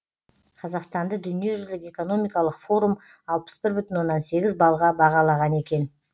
қазақстанды дүниежүзілік экономикалық форум алпыс бір бүтін оннан сегіз балға бағалаған екен